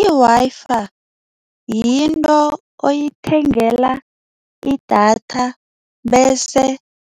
I-Wi-Fi yinto oyithengela idatha bese